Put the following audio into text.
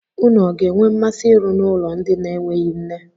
Ụnụ ọ ga-enwe mmasị ịrụ n'ụlọ ndị na-enweghị nne?